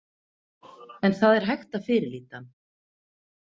En það er hægt að fyrirlíta hann.